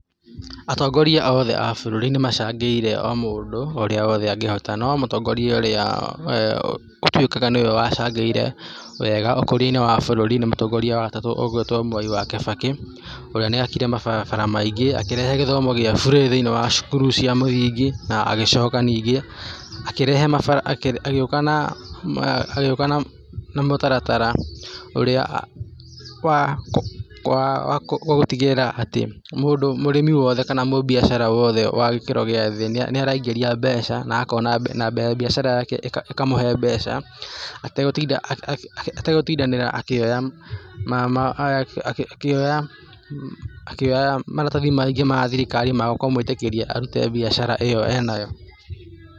Atongoria othe a bũrũri nĩ macangĩire o mũndũ o ũrĩa wothe angĩhota, no mũtongoria ũrĩa ũtuĩkaga nĩwe wacangĩire wega ũkũria-inĩ wa bũrũri nĩ mũtongoria wa gatatũ ũgwĩtwo Mwai wa Kĩbakĩ, ũrĩa nĩakire mabarabara maingĩ, akĩrehe gĩthomo gĩa bũrĩ thĩiniĩ wa cukuru cia mũthingi na agĩcoka ningĩ, akĩrehe mabara, agĩũka na mũtaratara ũrĩa wa wa gũtigĩrĩra atĩ mũndũ, mũrĩmi wothe na mũbiacara wothe wa gĩkĩro gĩa thĩ nĩaraingĩria mbeca na akona, na biacara yake ĩkamũhe mbeca ategũtinda akĩoya ategũtindanĩra akĩoya ma, akĩoya maratathi maingĩ ma thirikari ma kũmwĩtĩkĩria arute biacara ĩyo ena yo.